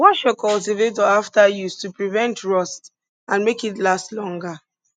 wash your cultivator after use to prevent rust and make it last longer